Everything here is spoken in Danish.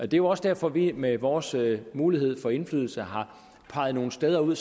det er også derfor at vi med vores mulighed for indflydelse har peget nogle steder ud